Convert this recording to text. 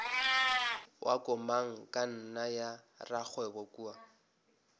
wa komangkanna ya rakgwebo kua